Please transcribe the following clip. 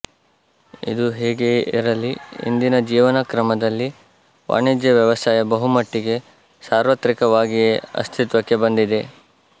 ಇದು ಹೇಗೆಯೇ ಇರಲಿ ಇಂದಿನ ಜೀವನಕ್ರಮದಲ್ಲಿ ವಾಣಿಜ್ಯ ವ್ಯವಸಾಯ ಬಹುಮಟ್ಟಿಗೆ ಸಾರ್ವತ್ರಿಕವಾಗಿಯೇ ಅಸ್ತಿತ್ವಕ್ಕೆ ಬಂದಿದೆ